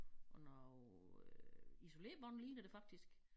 Og noget øh isolerbånd ligner det faktisk